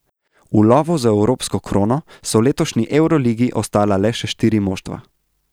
V lovu za evropsko krono so v letošnji evroligi ostala le še štiri moštva.